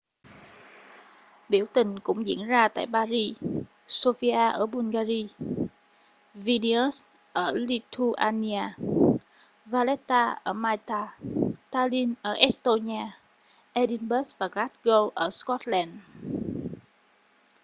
biểu tình cũng diễn ra tại paris sofia ở bulgaria vilnius ở lithuania valetta ở malta tallinn ở estonia edinburgh và glasgow ở scotland